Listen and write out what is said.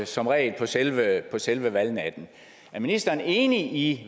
som regel på selve selve valgnatten er ministeren enig i